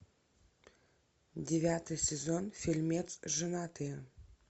девятый сезон фильмец женатые